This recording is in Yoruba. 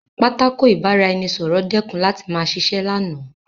Pátákó ìbára-ẹni-sọ̀rọ̀ dẹ́kun láti ma ṣiṣẹ́ lánàá